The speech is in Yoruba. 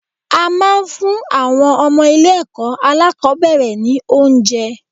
A máa ń fún àwọn ọmọ ilé ẹ̀kọ́ alákòbẹ̀rẹ̀ ni oúnjẹ.